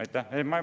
Aitäh!